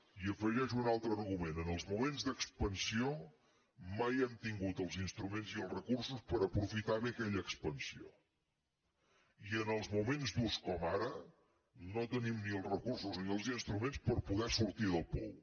i hi afegeixo un altre argument en els moments d’expansió mai hem tingut els instruments i els recursos per aprofitar bé aquella expansió i en els moments durs com ara no tenim ni els recursos ni els instruments per poder sortir del pou